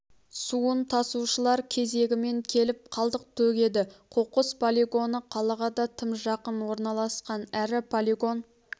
суын тасушылар кезегімен келіп қалдық төгеді қоқыс полигоны қалаға да тым жақын орналасқан әрі полигон